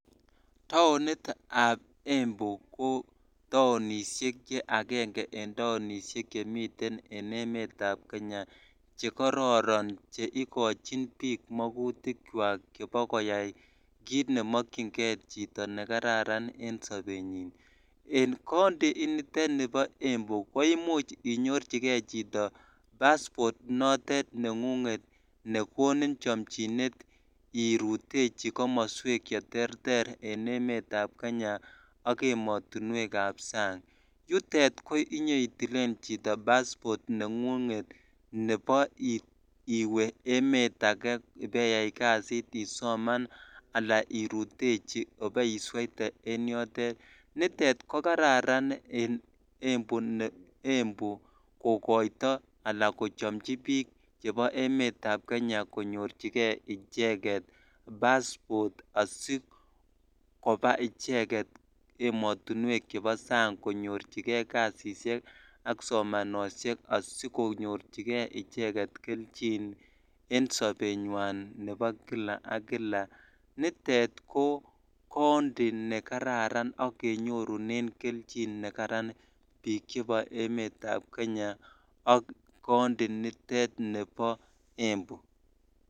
Taonitab Embu ko taonishek che akeng'e en taonishek chemiten en emetab Kenya chekororon cheikochi biik mokutikwak chebo koyai kiit nemokying'e chito nekararan en sobenyin, en county initet nibo Embu koimuch inyorchike chito paspot notet neng'ung'et nekonin chomchinet irutechi komoswek cheterter en emetab kenya ak emotinwekab sang, yutet ko inyeitilen chito paspot neng'unget nebo iwee emet akee ibeiyai kasit akee isoman alaa irutechi ibeiswete en yotet nitet ko kararan en Embu kokoito alaa kochomchi biik chebo emetab kenya konyorchike icheket paspot asikoba icheket emotinwek chebo sang konyorchike kasisiek ak somanosiek asikonyorchike icheket kelchin en sobenywan nebo kila ak kila, nitet ko county nekararan ak kenyorunen kelchin nekaran biik chebo emetab kenya ak county nitet nibo Embu.